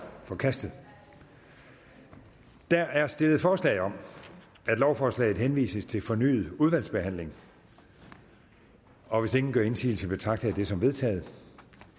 forkastet der er stillet forslag om at lovforslaget henvises til fornyet udvalgsbehandling og hvis ingen gør indsigelse betragter jeg det som vedtaget